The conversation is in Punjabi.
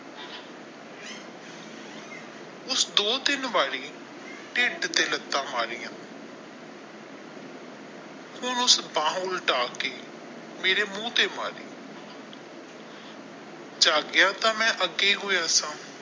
ਉਸ ਦੋ ਤਿੰਨ ਵਾਰੀ ਢਿੱਡ ਤੇ ਲੱਤਾਂ ਮਾਰੀਆਂ ਹੁਣ ਉਸ ਬਾਹ ਉੱਲਟਾ ਕੇ ਮੇਰੇ ਮੂੰਹ ਤੇ ਮਾਰੀ ਜਾਗਿਆ ਤਾ ਮੈਂ ਅੱਗੇ ਹੋਇਆ ਸਾ।